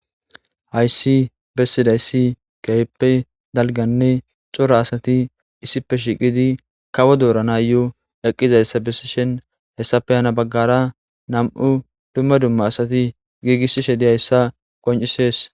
hayssi bessidayssi keyippe dalganne cora asati issipe shiqidi kawo doorana yo eqqizayssa besishin hessape hana baggara nam"u dumma dumma asati giigissishe dizayssa qoncisees.